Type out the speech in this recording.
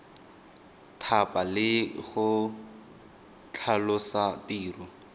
thapa le go tlhalosa tiro